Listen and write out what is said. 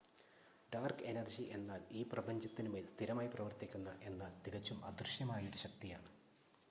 dark energy എന്നാൽ ഈ പ്രപഞ്ചത്തിനുമേൽ സ്ഥിരമായി പ്രവർത്തിക്കുന്ന എന്നാൽ തികച്ചും അദൃശ്യമായ ഒരു ശക്തിയാണ്